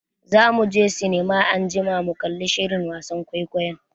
Za muje sinima anjima mu kalli shirin wasan kwaikwayon.